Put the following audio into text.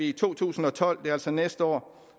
i to tusind og tolv det er altså næste år